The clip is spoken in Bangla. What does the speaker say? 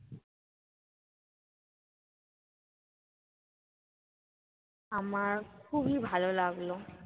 আমার খুবই ভালো লাগলো।